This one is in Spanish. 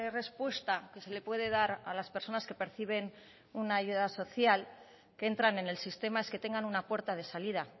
respuesta que se le puede dar a las personas que perciben una ayuda social que entran en el sistema es que tengan una puerta de salida